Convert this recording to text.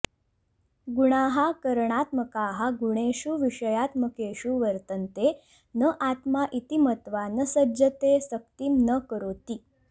गुणाः करणात्मकाः गुणेषु विषयात्मकेषु वर्तन्ते न आत्मा इति मत्वा न सज्जते सक्तिं न करोति